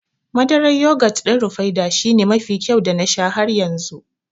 Madarar yogut ɗin Rufaidah shine mafi kyau da na sha har yanzu